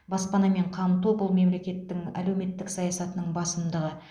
баспанамен қамту бұл мемлекеттің әлеуметтік саясатының басымдығы